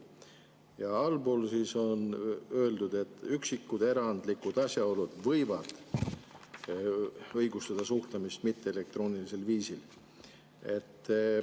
Ja allpool on öeldud, et üksikud erandlikud asjaolud võivad õigustada suhtlemist mitteelektroonilisel viisil.